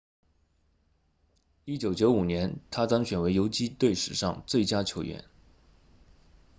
1995年他当选为游击队史上最佳球员